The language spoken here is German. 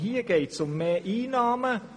Hier geht es vielmehr um Mehreinnahmen.